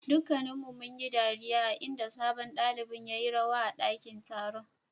Dukanuun yi dariya a'inda sabon dalibain ya yi rawa a dakin taron.